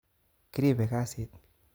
Kiribe kasit